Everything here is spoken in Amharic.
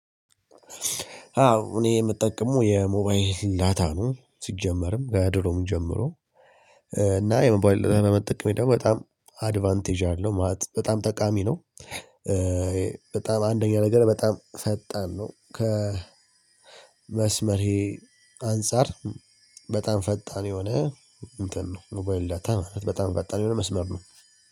አዎ እኔ የምጠቀመው የሞባይል ዳታ ነው ሲጀመርም ከድሮም ጀምሮ እና የሞባይል ዳታ መጠቀሜ ደግሞ በጣም አድቫንቴጅ አለው ማለት በጣም ጠቃሚ ነው። በጣም አንደኛ ነገር በጣም ፈጣን ነው ከመስመር ይሄ አንፃር በጣም ፈጣን የሆነ እንትን ነው ሞባይል ዳታ ማለት በጣም ፈጣን የሆነ መስመር ነው።